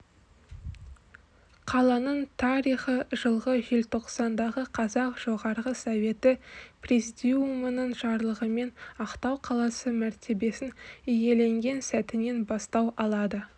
қаланың тарихы жылғы желтоқсандағы қазақ жоғарғы советі президиумының жарлығымен ақтау қаласы мәртебесін иеленген сәтінен бастау алады